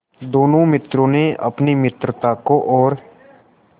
दोनों मित्रों ने अपनी मित्रता को और